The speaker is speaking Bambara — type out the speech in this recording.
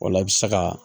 O la i bɛ se ka